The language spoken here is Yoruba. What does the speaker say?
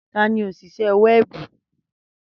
Tani onise wẹẹbu?